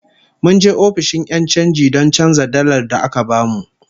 Mun je ofishin 'yan chanji don canza dalar da aka bamu